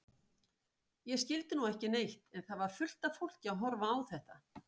Ég skildi nú ekki neitt en það var fullt af fólki að horfa á þetta.